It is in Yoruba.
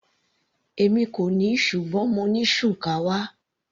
Èmi kò ní ṣùgbọ́n mo ní shukawa.